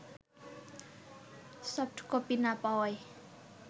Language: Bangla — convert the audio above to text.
সফটকপি না পাওয়ায়